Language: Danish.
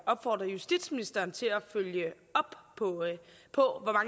opfordrer justitsministeren til at følge op på